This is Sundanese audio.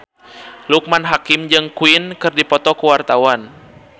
Loekman Hakim jeung Queen keur dipoto ku wartawan